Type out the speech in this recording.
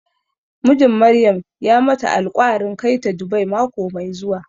Mijin Maryam ya mata alƙwarin kai ta Dubai mako mai zuwa.